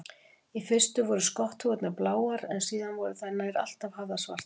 Í fyrstu voru skotthúfurnar bláar en síðar voru þær nær alltaf hafðar svartar.